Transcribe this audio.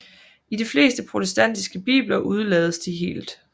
I de fleste protestantiske bibler udelades de helt